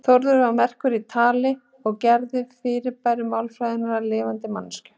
Þórður var merkur í tali og gerði fyrirbæri málfræðinnar að lifandi manneskjum.